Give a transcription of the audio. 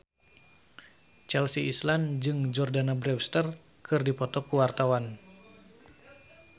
Chelsea Islan jeung Jordana Brewster keur dipoto ku wartawan